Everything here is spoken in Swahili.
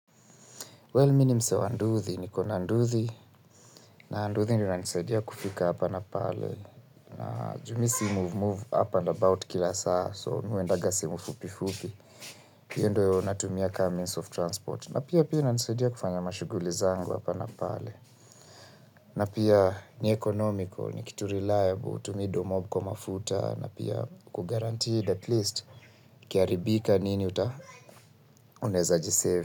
Well mi ni msee wa nduthi niko na nduthi. Na nduthi ndio inanisaidia kufika hapa na pale. Juu mi si move move up and about kila saa. So mi huendanga sehemu fupi fupi. Hiyo ndio natumia kama means of transport. Na pia pia inanisaidia kufanya mashughuli zangu hapa na pale. Na pia ni economical, ni kitu reliable, hutumii dooh mob kwa mafuta. Na pia uko guranteed at least ikiharibika nini uta unaeza jisave.